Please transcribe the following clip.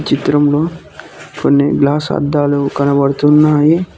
చిత్రంలో కొన్ని గ్లాస్ అద్దాలు కనబడుతున్నాయి.